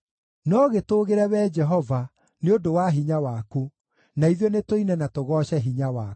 No gĩtũũgĩre Wee Jehova, nĩ ũndũ wa hinya waku; na ithuĩ nĩtũine na tũgooce hinya waku.